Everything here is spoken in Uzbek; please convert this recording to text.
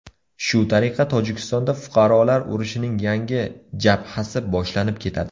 Shu tariqa Tojikistonda fuqarolar urushining yangi jabhasi boshlanib ketadi.